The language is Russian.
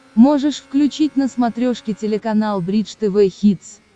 можешь включить на смотрешке телеканал бридж тв хитс